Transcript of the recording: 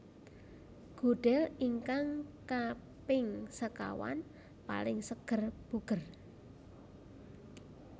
Gudel ingkang kaping sekawan paling seger buger